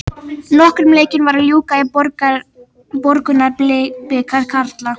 Nokkrum leikjum var að ljúka í Borgunarbikar karla.